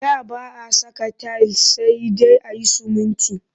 Da ba a saka tayil sai dai a yi sumunti